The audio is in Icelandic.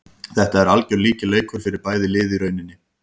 Þetta er algjör lykilleikur fyrir bæði lið í rauninni.